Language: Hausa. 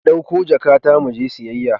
Ki dauko jakata mu je siyayya.